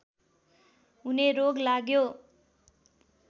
हुने रोग लाग्यो